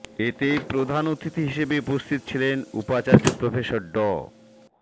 এতে প্রধান অতিথি হিসেবে উপস্থিত ছিলেন উপাচার্য প্রফেসর ড